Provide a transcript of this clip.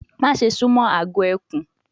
Maṣe sumo agọ ekun